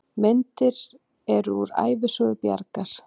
Myndir eru úr Ævisögu Bjargar.